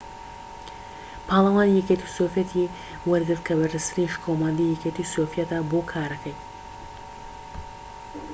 پاڵەوانی یەکێتی سۆڤیەت ی وەرگرت کە بەرزترین شکۆمەندیی یەکێتی سۆڤیەتە بۆ کارەکەی